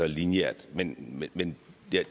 lineært men men